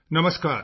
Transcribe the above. ਨਮਸਕਾਰ